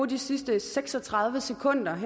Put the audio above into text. de sidste seks og tredive sekunder